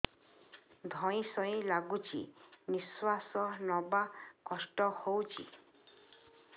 ଧଇଁ ସଇଁ ଲାଗୁଛି ନିଃଶ୍ୱାସ ନବା କଷ୍ଟ ହଉଚି